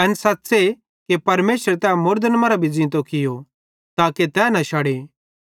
एन सच़्च़े कि परमेशरे तै मुड़दन मरां भी ज़ींतो कियो ताके तै न शड़े